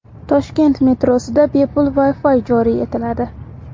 Toshkent metrosida bepul Wi-fi joriy etiladi.